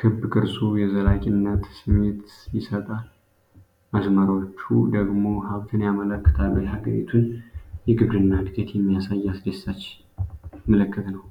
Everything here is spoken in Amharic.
ክብ ቅርጹ የዘላቂነት ስሜት ይሰጣል፣ መስመሮቹ ደግሞ ሀብትን ያመለክታሉ። የሀገሪቱን የግብርና እድገት የሚያሳይ አስደሳች ምልክት ነው።